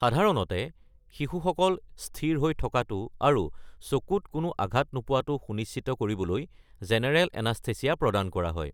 সাধাৰণতে, শিশুসকল স্থিৰ হৈ থকাটো আৰু চকুত কোনো আঘাত নোপোৱাটো সুনিশ্চিত কৰিবলৈ জেনেৰেল এনাস্থেচিয়া প্ৰদান কৰা হয়।